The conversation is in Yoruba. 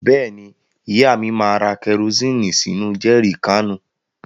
Bẹ́ẹ̀ni, ìyá mi máa ra kẹrosíìnì sínú jẹri káànù.